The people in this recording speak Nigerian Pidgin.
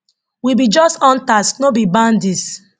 we be just hunters no be bandits